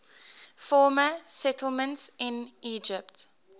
former settlements in egypt